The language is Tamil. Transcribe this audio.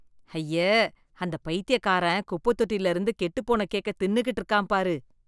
ஐயே, அந்த பைத்தியக்காரன் குப்பத் தொட்டில இருந்து கெட்டுப்போன கேக்க தின்னுகிட்டு இருக்கான் பாரு.